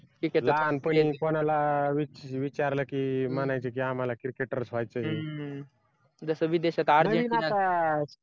लहानपणी कोणाला विचारलं की म्हणायचे की आम्हाला cricketers व्हायचंय